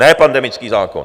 Ne pandemický zákon.